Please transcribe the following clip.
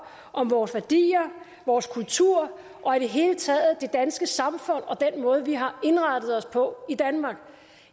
om vores værdier vores kultur og i det hele taget det danske samfund og den måde vi har indrettet os på i danmark